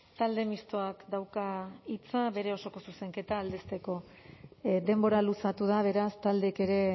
talde mistoak dauka hitza bere osoko zuzenketa aldezteko denbora luzatu da beraz taldeek ere